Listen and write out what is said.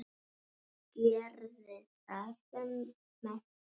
Og gerði það með stæl.